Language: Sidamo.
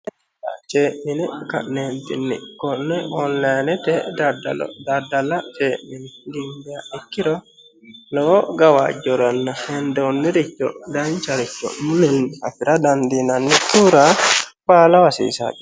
cee'mine ka'neentinni konne onilaanete daddala cee'mine gimbiha ikkiro lowo gawajjoranna hendoonniricho dancharicho mulenni afira daddinannikkihura baalaho hasiisanno